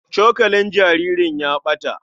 Cokalin jaririn ya ɓata.